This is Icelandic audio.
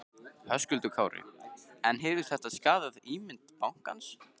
Höskuldur Kári: En hefur þetta skaðað ímynd bankans?